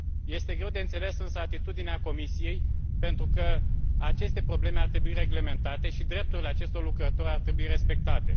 Este greu de înțeles, însă, atitudinea Comisiei, pentru că aceste probleme ar trebui reglementate și drepturile acestor lucrători ar trebui respectate.